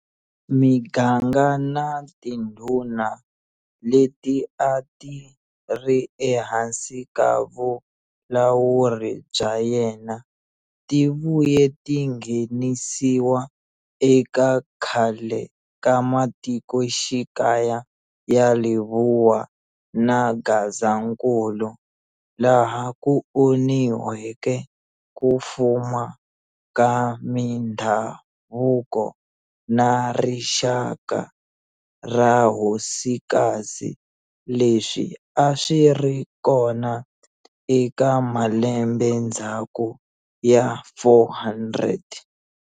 Miganga na tindhuna leti a ti ri ehansi ka vulawuri bya yena ti vuye ti nghenisiwa eka khale ka matikoxikaya ya Lebowa na Gazankulu laha ku onhiweke ku fuma ka mindhavuko na rixaka ra hosikazi leswi a swi ri kona eka malembendzhaku ya 400.